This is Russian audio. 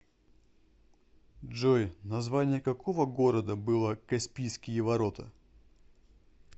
джой название какого города было каспийские ворота